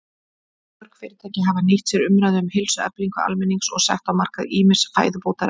Mörg fyrirtæki hafa nýtt sér umræðu um heilsueflingu almennings og sett á markað ýmis fæðubótarefni.